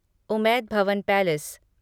Umaid Bhawan palace